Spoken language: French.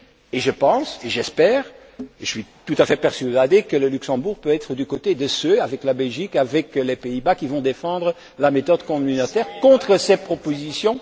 Et je pense et j'espère et je suis tout à fait persuadé que le Luxembourg peut être du côté de ceux, avec la Belgique, avec les Pays Bas qui vont défendre la méthode communautaire contre ces propositions.